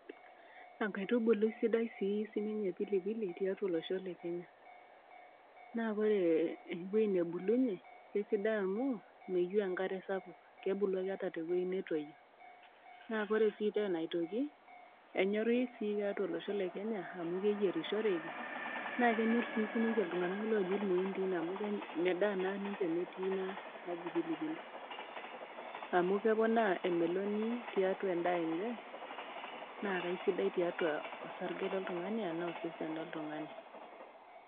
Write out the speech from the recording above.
Enkaitubului sidai sii sininye pilipili tiatua olosho le Kenya, naa ore ewueji nabulunye, esidai amu meyieu enkare sapuk, kebulu ake ata te wueji natoiyo. Naa ore sii tena aitoki, enyori sii tiatua olosho le Kenya amu keyerishoreki, naa kenyor sii aiitoki sininye iltung'ana oji ilmuindi, amu medaa naa ninche metii ina naji pilipili, amu keponaa emeloni tiatua endaa enye, naa sidai tiatua osarge loltungani anaa osesen loltung'ani.